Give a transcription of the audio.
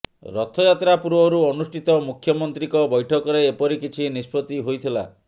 ରଥଯାତ୍ରା ପୂର୍ବରୁ ଅନୁଷ୍ଠିତ ମୁଖ୍ୟମନ୍ତ୍ରୀଙ୍କ ବ୘ଠକରେ ଏପରି କିଛି ନିଷ୍ପତ୍ତି ହୋଇଥିଲା